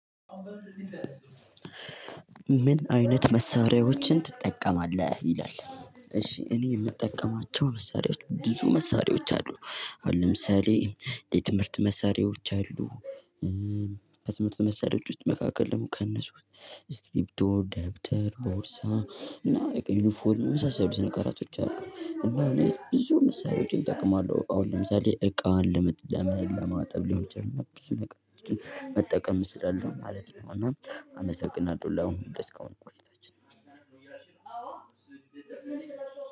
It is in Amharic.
ምን አይነት መሳሪያዎችን ትጠቀማለህ ይላል? እሺ እኔ የምጠቀማቸው መሳሪያዎች ብዙ መሳሪያዎች አሉ። አሁን ለምሳሌ የትምህርት መሳሪያዎች አሉ። ከትምህርት መሳሪያዎች ውስጥ መካከል ደግሞ ከእነሱ ስክሪፒቶ ደብተር ቦርሳ ምና በቃ ዩኒፎርም መሳሳሉትን ነገራቶች አሉ እና ብዙ መሳሪያዎችን እጠቅማለሁ። አሁን ለምሳሌ እቃ ለማጠብ ሊሆን ይችላል ብዙ ነገሮችን መጠቀም እችላለው ማለት ነው። እና አመሰግናለሁ ላሁኑ ላስካሁኑ ቆይታችን።